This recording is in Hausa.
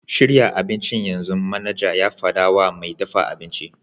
Shirya abincin yanzu!' manaja ya faɗa wa mai dafa abinci.